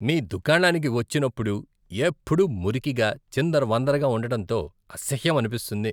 మీ దుకాణానికి వచ్చినప్పుడు ఎప్పుడూ మురికిగా, చిందరవందరగా ఉండటంతో అసహ్యమనిపిస్తుంది.